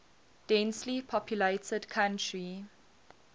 densely populated country